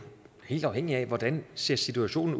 helt afhængigt af hvordan situationen